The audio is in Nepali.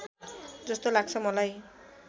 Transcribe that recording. जस्तो लाग्छ मलाई